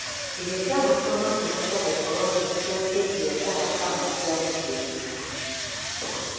Irio cia ngũkũ no cihote gũkorwo ci cia kĩbiashara kama cia mũcii-inĩ,